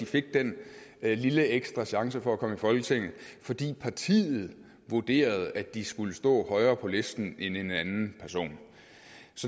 fik den lille ekstra chance for komme i folketinget fordi partiet vurderede at de skulle stå højere på listen end en anden person